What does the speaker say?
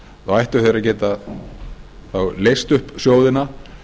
sjóðseigenda ættu þeir að geta leyst upp sjóðina